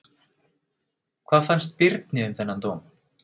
Hvað fannst Birni um þennan dóm?